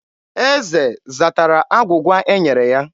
Eze zatara agwụgwa e nyere ya.